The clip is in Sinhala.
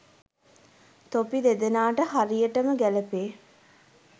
තොපි දෙදෙනාට හරියටම ගැලපේ.